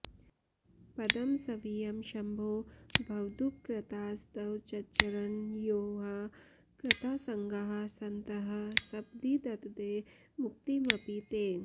पदं स्वीयं शम्भो भवदुपकृतास्त्वच्चरणयोः कृतासङ्गाः सन्तः सपदि ददते मुक्तिमपि ते